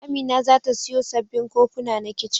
Amina za ta siyo sabbin kofuna na kicin.